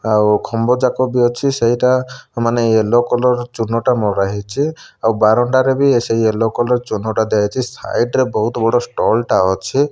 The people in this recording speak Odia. ଆଉ ଖମ୍ବଚାପ ବି ଅଛି ସେଇଟା ମାନେ ୟେଲୋ କଲର୍ ଚୁନ ଟା ମରାହେଇଚେ ଆଉ ବାରଣ୍ଡା ରେ ବି ସେଇ ୟେଲୋ କଲର୍ ଚୁନ ଟା ସାଇଟ୍ ରେ ବହୁତ୍ ବଡ଼ ଷ୍ଟଲ ଟା ଅଛେ।